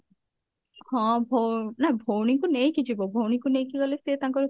ହଁ ଭ ନା ଭଉଣୀକୁ ନେଇକି ଯିବ ଭଉଣୀ କୁ ନେଇକି ଗଲେ ସେ ତାଙ୍କର